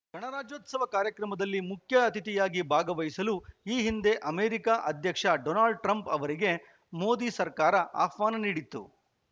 ಗಣರಾಜ್ಯೋತ್ಸವ ಕಾರ್ಯಕ್ರಮದಲ್ಲಿ ಮುಖ್ಯ ಅತಿಥಿಯಾಗಿ ಭಾಗವಹಿಸಲು ಈ ಹಿಂದೆ ಅಮೆರಿಕ ಅಧ್ಯಕ್ಷ ಡೊನಾಲ್ಡ್‌ ಟ್ರಂಪ್‌ ಅವರಿಗೆ ಮೋದಿ ಸರ್ಕಾರ ಆಹ್ವಾನ ನೀಡಿತ್ತು